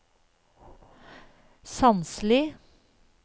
Sandsli